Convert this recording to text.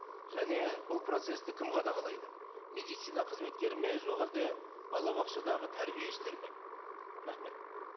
және бұл процессті кім қадағалайды медицина қызметкері ме жоқ әлде балабақшадағы тәрбиешілер ме рахмет